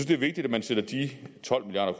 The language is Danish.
det er vigtigt at man sætter de tolv milliard